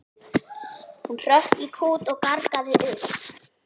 Hún hrökk í kút og gargaði upp.